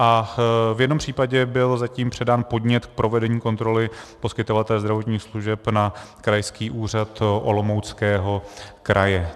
A v jednom případě byl zatím předán podnět k provedení kontroly poskytovatele zdravotních služeb na Krajský úřad Olomouckého kraje.